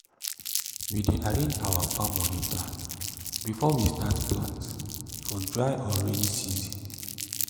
we dey arrange our farm moni plan before we start plant for dry or rainy season